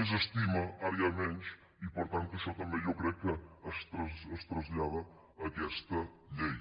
més estima ara n’hi ha menys i per tant que això també jo crec que es tras·llada a aquesta llei